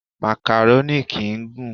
Màkàrónì kìí gùn.